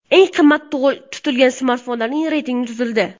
Eng qimmat tutilgan smartfonlar reytingi tuzildi.